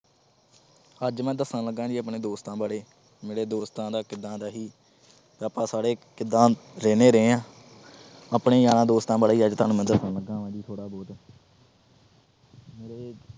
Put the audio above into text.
ਅੱਜ ਮੈਂ ਦਸਣ ਲੱਗਾ ਜੀ ਆਪਣੇ ਦੋਸਤਾਂ ਬਾਰੇ। ਮੇਰੀ ਦੋਸਤਾਂ ਨਾਲ ਕਿਦਾਂ ਰਹੀ। ਆਪਾ ਸਾਰੇ ਕਿਦਾਂ ਰਹਿੰਦੇ ਰਹੇ ਆ। ਆਪਣੇ ਯਾਰਾਂ ਦੋਸਤਾਂ ਬਾਰੇ ਅੱਜ ਮੈਂ ਤੁਹਾਨੂੰ ਦੱਸਣ ਲੱਗਾ ਥੋੜ੍ਹਾ ਬਹੁਤ